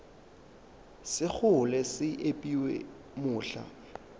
sa kgole se epiwa mohla